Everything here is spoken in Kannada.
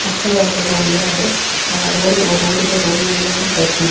ಮಕ್ಕಳು ಆಡಲು ಉಯ್ಯಾಲೆ ಆ ರೋಡ್ ಇದೆ ರೋಡ ಇನ ಮೇಲೆ ಒಂದು ಬೈಕ್ ನಿಂತ --